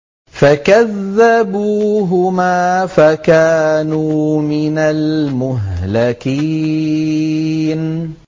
فَكَذَّبُوهُمَا فَكَانُوا مِنَ الْمُهْلَكِينَ